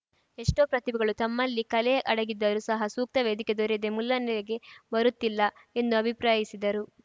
ಎಷ್ಟೋ ಪ್ರತಿಭೆಗಳು ತಮ್ಮಲ್ಲಿ ಕಲೆ ಅಡಗಿದ್ದರೂ ಸಹ ಸೂಕ್ತ ವೇದಿಕೆ ದೊರೆಯದೇ ಮುನ್ನೆಲೆಗೆ ಬರುತ್ತಿಲ್ಲ ಎಂದು ಅಭಿಪ್ರಾಯಿಸಿದರು